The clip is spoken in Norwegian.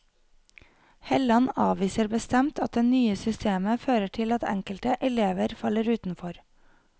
Helland avviser bestemt at det nye systemet fører til at enkelte elever faller utenfor.